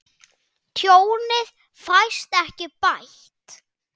Tjónið fæst ekki bætt.